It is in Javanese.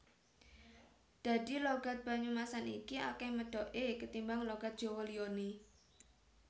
Dadi logat Banyumasan iki akeh medhoke ketimbang logat Jawa liyane